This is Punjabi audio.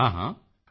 ਮੋਦੀ ਜੀ ਹਾਂ ਹਾਂ